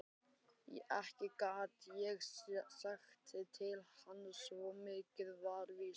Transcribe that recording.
Ekki gat ég sagt til hans, svo mikið var víst.